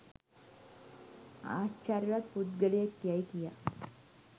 ආශ්චර්යවත් පුද්ගලයෙක් යැයි කියා